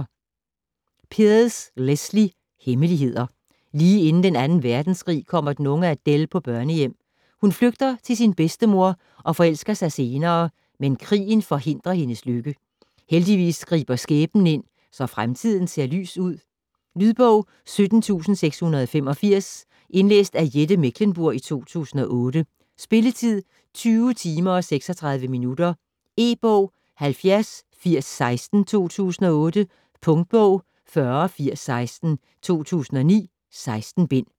Pearse, Lesley: Hemmeligheder Lige inden den 2. verdenskrig kommer den unge Adele på børnehjem. Hun flygter til sin bedstemor, og forelsker sig senere, men krigen forhindrer hendes lykke. Heldigvis griber skæbnen ind, så fremtiden ser lys ud... Lydbog 17685 Indlæst af Jette Mechlenburg, 2008. Spilletid: 20 timer, 36 minutter. E-bog 708016 2008. Punktbog 408016 2009. 16 bind.